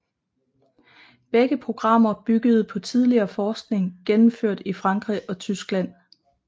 Begge programmer byggede på tidligere forskning gennemført i Frankrig og Tyskland